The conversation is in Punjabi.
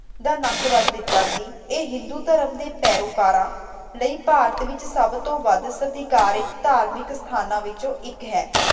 ਦਾ ਨੱਕ ਵੱਢ ਦਿੱਤਾ ਸੀ। ਇਹ ਹਿੰਦੂ ਧਰਮ ਦੇ ਪੈਰੋਕਾਰਾਂ ਲਈ ਭਾਰਤ ਵਿਚ ਸਭ ਤੋਂ ਵੱਧ ਸਤਿਕਾਰਿਤ ਧਾਰਮਿਕ ਅਸਥਾਨਾਂ ਵਿਚੋਂ ਇਕ ਹੈ।